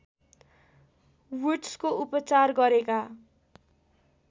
वुड्सको उपचार गरेका